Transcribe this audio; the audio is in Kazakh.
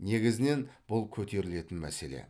негізінен бұл көтерілетін мәселе